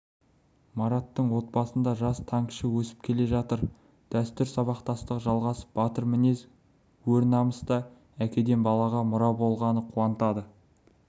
мараттың отбасында жас танкіші өсіп келе жатыр дәстүр сабақтастығы жалғасып батыр мінез өр намыс та әкеден балаға мұра болғаны қуантады